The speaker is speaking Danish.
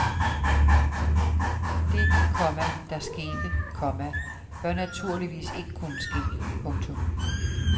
Det, komma der skete, komma bør naturligvis ikke kunne ske. punktum